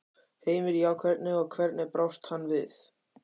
Heimir: Já, hvernig, og hvernig brást hann við?